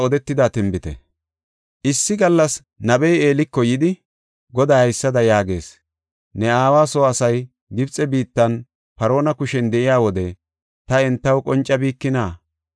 Issi gallas nabey Eeliko yidi, “Goday haysada yaagees. ‘Ne aawa soo asay Gibxe biittan Paarona kushen de7iya wode ta entaw qoncabikina?